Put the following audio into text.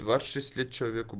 двадцать шесть лет человеку